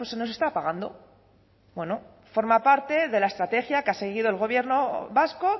nos está apagando forma parte de la estrategia que ha seguido el gobierno vasco